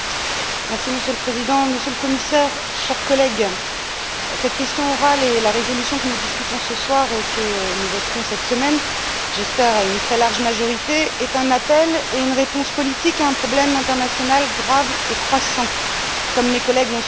Monsieur le Président, Monsieur le Commissaire, chers collègues, cette question orale et la résolution que nous discutons ce soir et que nous voterons cette semaine, j'espère à une très large majorité, est un appel et une réponse politique à un problème international grave et croissant, comme mes collègues l'ont souligné.